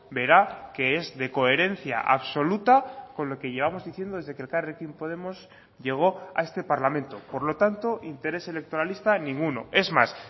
verá que es de coherencia absoluta con lo que llevamos diciendo desde que elkarrekin podemos llegó a este parlamento por lo tanto interés electoralista ninguno es más